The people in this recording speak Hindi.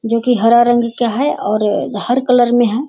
जोकि हरा रंग का है और हर कलर में है।